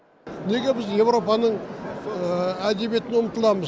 неге біз еуропаның әдебиетіне ұмтыламыз